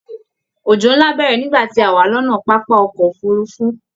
Òjò nlá bẹrẹ nígbà tí a wá lọnà pápá ọkọ òfurùnfu